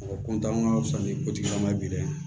Mɔgɔ an ka fisa ni kotigila maa bi dɛ